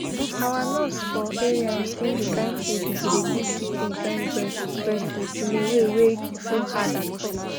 our nurse for area explain the kind food u go dey give pikin join breast breast milk in a way wey no hard at all